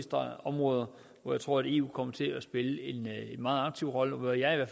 områder hvor eu kommer til at spille en meget aktiv rolle og hvor jeg